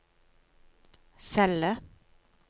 celle